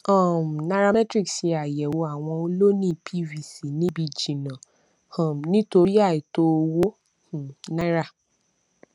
um nairametrics ṣe àyẹwò àwọn ọlóńìí pvc níbi jìnnà um nítorí àìtó owó um náírà